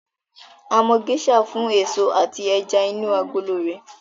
A mọ Geisha fún èso àti ẹja inú agolo rẹ̀